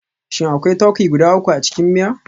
Shin akwai turkey guda uku a cikin miya?